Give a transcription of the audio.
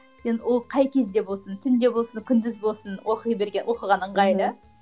сен ол қай кезде болсын түнде болсын күндіз болсын оқи берген оқыған ыңғайлы